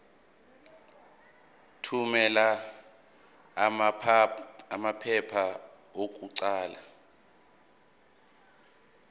thumela amaphepha okuqala